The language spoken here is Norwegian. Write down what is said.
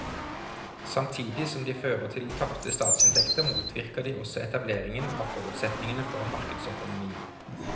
Samtidig som de fører til tapte statsinntekter motvirker de også etablering av forutsetningene for en markedsøkonomi.